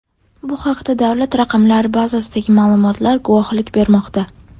Bu haqda davlat raqamlari bazasidagi ma’lumotlar guvohlik bermoqda.